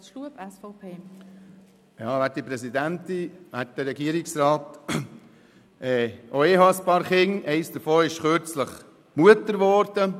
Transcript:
Auch ich habe ein paar Kinder, eines davon ist kürzlich Mutter geworden.